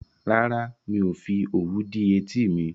Rárá, mi ò fi òwú dí etí mi